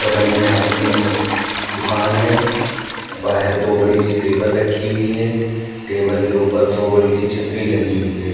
बगल में आइसक्रीम दुकान है। बाहिर दो बड़ी-सी टेबल रखी हुई हैं। टेबल के ऊपर दो बड़ी सी छतरी लगी हुई है।